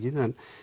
en